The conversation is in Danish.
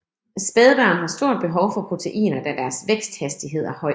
Spædbørn har stor behov for proteiner da deres væksthastighed er høj